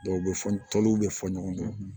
Dɔw bɛ fɔ tɔliw bɛ fɔ ɲɔgɔn kɔ